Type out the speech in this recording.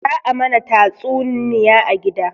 Za a mana tastunniya a gida